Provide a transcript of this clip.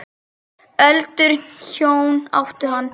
Öldruð hjón áttu hann.